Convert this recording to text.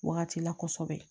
Wagati la kosɛbɛ